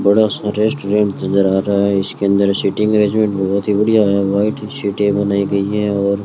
बड़ा सा रेस्टोरेंट नजर आ रहा है इसके अंदर सीटिंग अरेंजमेंट बहोत ही बढ़िया है व्हाइट सीटें बनाई गई हैं और --